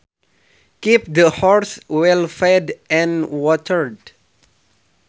Keep the horses well fed and watered